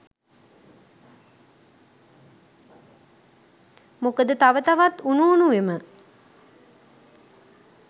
මොකද තව තවත් උණු උණුවෙම